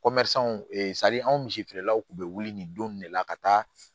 anw misifeerelaw tun bɛ wuli nin don nin de la ka taa